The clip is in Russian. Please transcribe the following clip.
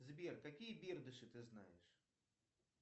сбер какие бердыши ты знаешь